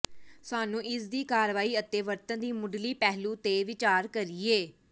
ਸਾਨੂੰ ਇਸ ਦੀ ਕਾਰਵਾਈ ਅਤੇ ਵਰਤਣ ਦੀ ਮੁੱਢਲੀ ਪਹਿਲੂ ਤੇ ਵਿਚਾਰ ਕਰੀਏ